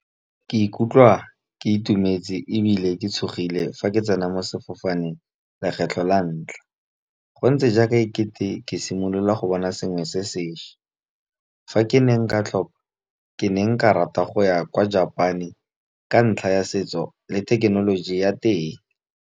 Ke ikutlwa ke itumetse ebile ke tshogile, fa ke tsena mo sefofaneng lekgetlho la ntlha. Go ntse jaaka e kete ke simolola go bona sengwe se sešwa, fa ke ne nka tlhopha ke ne nka rata go ya kwa Japan-e, ka ntlha ya setso le thekenoloji ya teng.